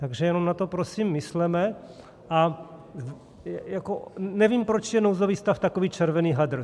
Takže jenom na to, prosím, mysleme, a nevím, proč je nouzový stav takový červený hadr.